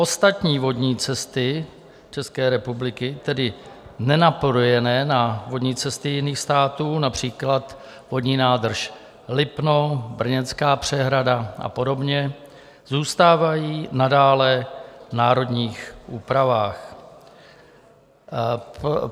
Ostatní vodní cesty České republiky, tedy nenapojené na vodní cesty jiných států, například vodní nádrž Lipno, Brněnská přehrada a podobně, zůstávají nadále v národních úpravách.